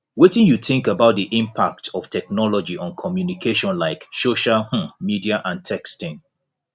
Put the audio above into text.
wetin you think about di impact of technology on communication like social um media and texting